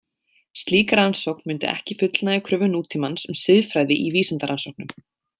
Slík rannsókn mundi ekki fullnægja kröfum nútímans um siðfræði í vísindarannsóknum.